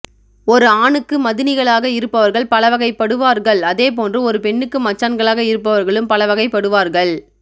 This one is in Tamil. ஒரு ஆணுக்கு மதினிகளாக இருப்பவர்கள் பலவகை படுவார்கள் அதே போன்று ஒரு பெண்ணுக்கு மச்சான்களாக இருப்பவர்களும் பலவகை படுவார்கள்